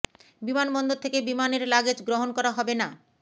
বিমানবন্দর থেকে বিমানের লাগেজ গ্রহণ করা হবে না